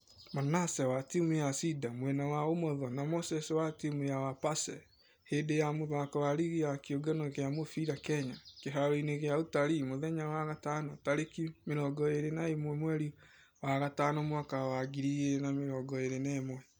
Manaseh wa timũ ya cider mwena wa ũmotho na moses wa timũ ya wepese hĩndĩ ya mũthako wa rigi ya kĩũngano gia mũfira kenya, kĩharo-inĩ gia utali mũthenya wa gatano tarĩki mĩrongo ĩrĩ na ĩmwe mweri wa gatano mwaka wa 2021.